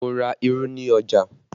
Mo ra irú ni ọjà